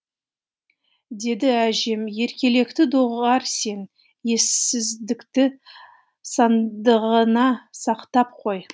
деді әжем еркелікті доғар сен ессіздікті сандығыңа сақтап қой